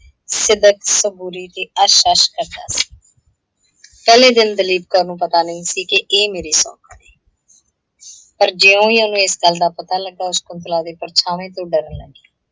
ਸਿੱਦਕ, ਸਬੂਰੀ ਤੇ ਪਹਿਲੇ ਦਿਨ ਦਲੀਪ ਕੌਰ ਨੂੰ ਪਤਾ ਨਹੀਂ ਸੀ, ਕਿ ਇਹ ਮੇਰੀ ਸੌਂਕਣ ਹੈ। ਪਰ ਜਿਓਂ ਹੀ ਉਹਨੂੰ ਇਸ ਗੱਲ ਦਾ ਪਤਾ ਲੱਗਾ, ਉਹ ਸ਼ਕੁੰਤਲਾ ਦੇ ਪਰਛਾਂਵੇ ਤੋਂ ਡਰਨ ਲੱਗੀ।